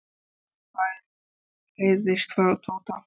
er hann farinn? heyrðist frá Tóta.